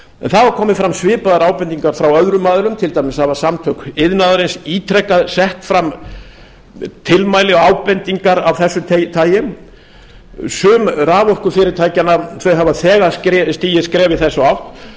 það hafa komið fram svipaðar ábendingar frá öðrum aðilum til dæmis hafa samtök iðnaðarins ítrekað sett fram tilmæli og ábendingar af þessu tagi sum raforkufyrirtækjanna hafa þegar stigið skref í þessa átt og má